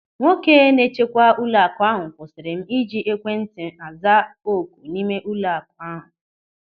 Nwoke na-echekwa ụlọaku ahụ kwụsịrị m ịji ekwentị aza oku n'ime ụlọaku ahụ.